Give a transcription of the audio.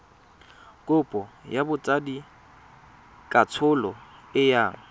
kopo ya botsadikatsholo e yang